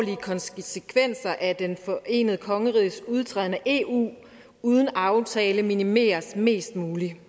konsekvenser at det forenede kongeriges udtræden af eu uden en aftale minimeres mest muligt